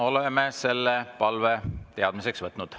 Oleme selle palve teadmiseks võtnud.